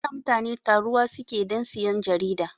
Ada mutani taruwa suke dan siyan jarida